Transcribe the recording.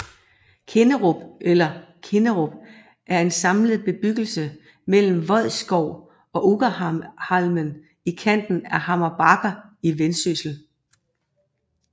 Kinderup eller Kinnerup er en samlet bebyggelse mellem Vodskov og Uggerhalne i kanten af Hammer Bakker i Vendsyssel